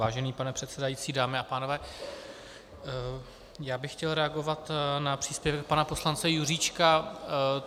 Vážený pane předsedající, dámy a pánové, já bych chtěl reagovat na příspěvek pana poslance Juříčka.